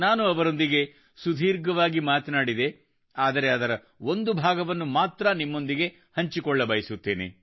ನಾನು ಅವರೊಂದಿಗೆ ಸುದೀರ್ಘವಾಗಿ ಮಾತನಾಡಿದೆ ಆದರೆ ಅದರ ಒಂದು ಭಾಗವನ್ನು ಮಾತ್ರ ನಿಮ್ಮೊಂದಿಗೆ ಹಂಚಿಕೊಳ್ಳಬಯಸುತ್ತೇನೆ